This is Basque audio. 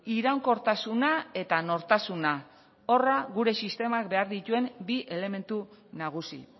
iraunkortasuna eta nortasuna horra gure sistemak behar dituen bi elementu nagusi